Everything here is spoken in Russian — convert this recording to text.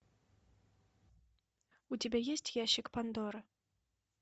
у тебя есть ящик пандоры